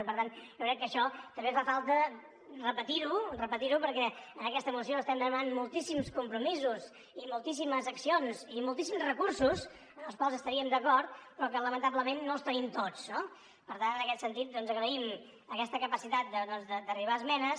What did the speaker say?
i per tant jo crec que això també fa falta repetir ho perquè en aquesta moció estem demanant moltíssims compromisos i moltíssimes accions i moltíssims recursos amb els quals estaríem d’acord però que lamentablement no els tenim tots no per tant en aquest sentit doncs agraïm aquesta capacitat d’arribar a esmenes